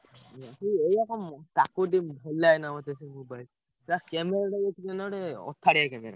କି ଏଇଆ କଣ ତାକୁ ଏତେ ଭଲ ଲାଗେନା ମତେ ସେ mobile ତା camera ଟା ଅଖାଡିଆ camera